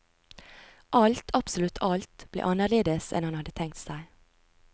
Alt, absolutt alt, ble anderledes enn han hadde tenkt seg.